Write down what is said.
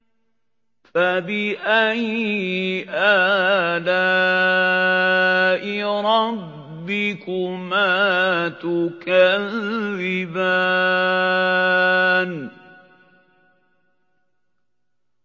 فَبِأَيِّ آلَاءِ رَبِّكُمَا تُكَذِّبَانِ